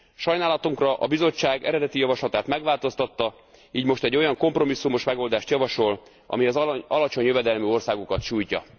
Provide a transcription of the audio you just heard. Sajnálatunkra a Bizottság eredeti javaslatát megváltoztatta, így most egy olyan kompromisszumos megoldást javasol, ami az alacsony jövedelmű országokat sújtja.